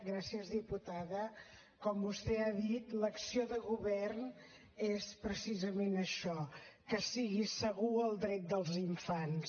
gràcies diputada com vostè ha dit l’acció de govern és precisament això que sigui segur el dret dels infants